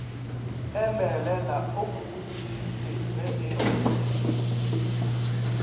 emelele o mmotšišitše ge e